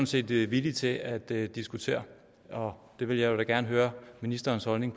set villige til at diskutere og det vil jeg da gerne høre ministerens holdning